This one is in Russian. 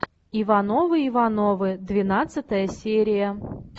ивановы ивановы двенадцатая серия